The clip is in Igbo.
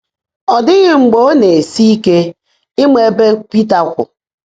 Ọ́ ḍị́ghị́ mgbe ọ́ ná-èsi íke ị́mã ébè Pị́tà kwụ́.